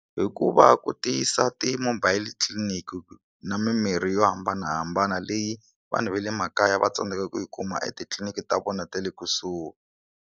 Hi ku va ku tiyisa ti mobile clinic na mimirhi yo hambanahambana leyi vanhu va le makaya va tsandzekaka ku yi kuma etitliliniki ta vona ta le kusuhi.